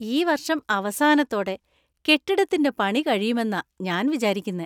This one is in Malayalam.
ഈ വർഷം അവസാനത്തോടെ കെട്ടിടത്തിന്‍റെ പണി കഴിയുമെന്നാ ഞാൻ വിചാരിക്കുന്നെ.